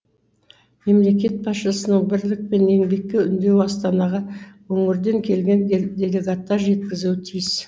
мемлекет басшысының бірлік пен еңбекке үндеуін астанаға өңірден келген делегаттар жеткізуі тиіс